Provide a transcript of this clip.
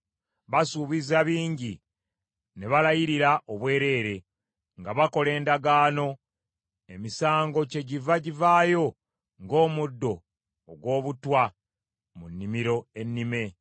Basuubiza bingi, ne balayirira obwereere nga bakola endagaano; emisango kyegiva givaayo ng’omuddo ogw’obutwa mu nnimiro ennime.